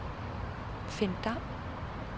Finn Dam